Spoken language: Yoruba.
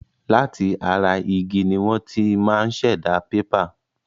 Láti ara igi ni wọ́n ti máa ṣẹ̀dá pépà.